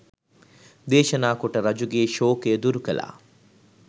දේශනා කොට රජුගේ ශෝකය දුරු කළා.